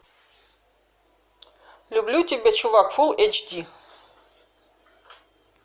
люблю тебя чувак фул эйч ди